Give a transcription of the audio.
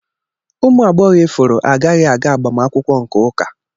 Ụmụ agbọghọ ifuru agaghị aga agbamakwụkwọ nke ụka.